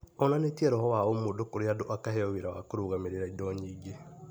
Onanĩtie roho wa ũmũndũ kũrĩ andũ akaheo wĩra wa kũrũgamĩrĩra indo nyingĩ